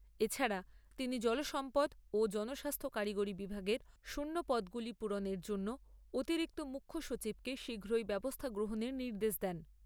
এছাড়া তিনি জলসম্পদ ও জনস্বাস্থ্য কারিগরী বিভাগের শূন্য পদগুলি পূরণের জন্য অতিরিক্ত মুখ্যসচিবকে শীঘ্রই ব্যবস্থা গ্রহণের নির্দেশ দেন।